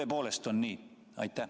Kas tõepoolest on nii?